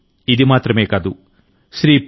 ఇది మాత్రమే కాదు నేను శ్రీ పి